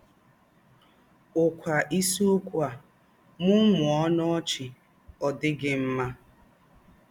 ụ̀kwa ìsìókwú á: “Mụ́mụ́ọ́ ọnù ọ̀chị́ — Ọ̀ Dì̄ Gí̄ Mmà!”